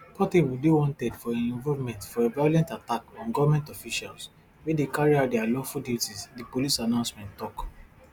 portable dey wanted for im involvement for a violent attack on goment officials wey dey carry out dia lawful duties di police announcement tok